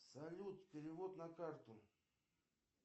салют перевод на карту